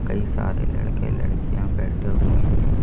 कई सारे लड़के लड़कियां बैठे हुए हैं।